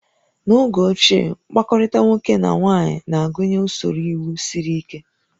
N'oge ochie, mkpakọrịta nwoke na nwaanyị na-agụnye usoro iwu siri ike